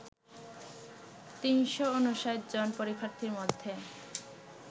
৩৫৯ জন পরীক্ষার্থীর মধ্যে